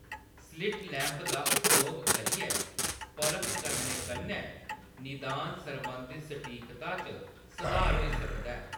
Slit lamp दा उपयोग करियै परख करने कन्नै निदान सरबंधी ​​सटीकता च सधार होई सकदा ऐ।